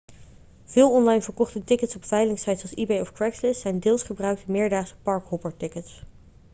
veel online verkochte tickets op veilingsites als ebay of craigslist zijn deels gebruikte meerdaagse park-hopper-tickets